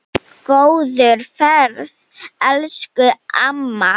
Góða ferð, elsku amma.